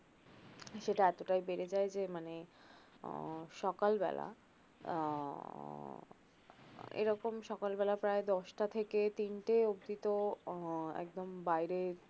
যেটা এতটাই বেড়ে যায় যে মানে আহ সকালবেলা আহ এরকম সকালবেলা প্রায় দশ টা থেকে তিন টে অব্দি তো উহ একদম বাইরে